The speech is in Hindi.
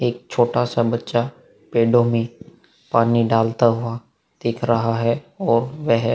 एक छोटा सा बच्चा पेड़ो मै पानी डालता हुआ दिख रहा है वो वेहे --